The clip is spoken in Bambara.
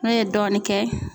N'u ye dɔɔnin kɛ